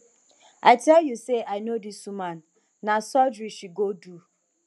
i tell you say i know dis woman na surgery she go do